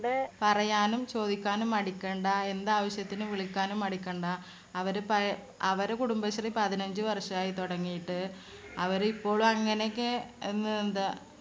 പറയാനും ചോദിക്കാനും മടിക്കേണ്ട. എന്താവശ്യത്തിനും വിളിക്കാനും മടിക്കണ്ട. അവര് പഴേ അവര് കുടുംബശ്രീ പതിനഞ്ചുവർഷായി തുടങ്ങിയിട്ട്. അവരിപ്പോളും അങ്ങനെയൊക്കെ എന്ന് എന്താ